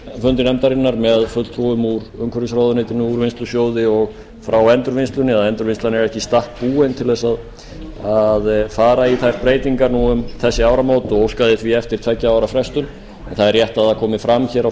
fundi nefndarinnar með fulltrúum úr umhverfisráðuneytinu úrvinnslusjóði og frá endurvinnslunni að endurvinnslan er ekki í stakk búin til að fara í þær breytingar nú um þessi áramót og óskaði því eftir tveggja ára frestun það er rétt að það komi fram á